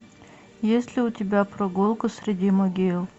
есть ли у тебя прогулка среди могил